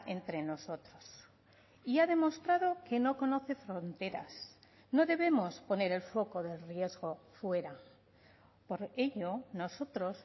entre nosotros y ha demostrado que no conoce fronteras no debemos poner el foco del riesgo fuera por ello nosotros